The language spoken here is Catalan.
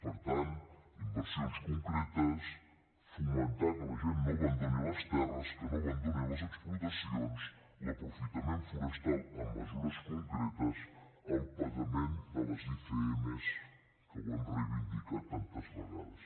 per tant inversions concretes fomentar que la gent no abandoni les terres que no abandoni les explotacions l’aprofitament forestal amb mesures concretes el pagament de les icm que ho hem reivindicat tantes vegades